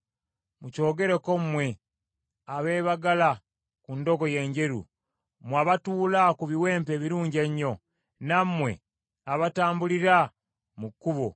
“Mukyogereko mmwe, abeebagala ku ndogoyi enjeru, mmwe abatuula ku biwempe ebirungi ennyo, nammwe abatambulira mu kkubo.